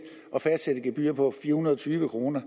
gebyr på fire hundrede og tyve kroner